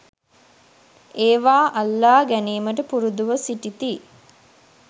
ඒවා අල්ලා ගැනීමට පුරුදුව සිටිති